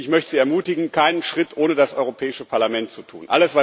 Und ich möchte sie ermutigen, keinen Schritt ohne das Europäische Parlament zu tun.